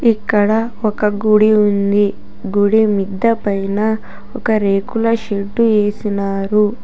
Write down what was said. ఇక్కడ ఒక గుడి ఉంది గుడి మిద్దె పైన ఒక రేకుల షెడ్డు ఎసినారు.